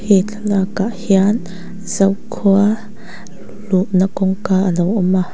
he thlalak ah hian zokhua luhna kawngka alo awm a.